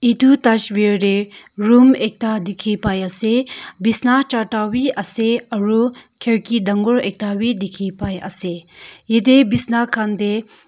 tu tasveer tey room ekta dikhi pai ase bisna charta wi ase aru kharki dangor ekta wi dikhi pai ase yetey bisna khan dey.